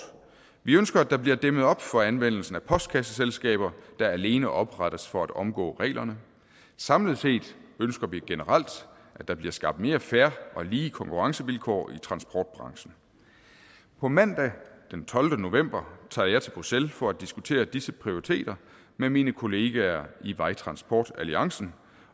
vi ønsker at der bliver dæmmet op for anvendelsen af postkasseselskaber der alene oprettes for at omgå reglerne samlet set ønsker vi generelt at der bliver skabt mere fair og lige konkurrencevilkår i transportbranchen på mandag den tolvte november tager jeg til bruxelles for at diskutere disse prioriteter med mine kollegaer i vejtransportalliancen